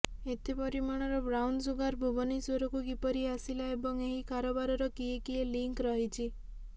ଏତେ ପରିମାଣର ବ୍ରାଉନସୁଗାର ଭୁବନେଶ୍ୱରକୁ କିପରି ଆସିଲା ଏବଂ ଏହି କାରବାରର କିଏ କିଏ ଲିଙ୍କ ରହିଛି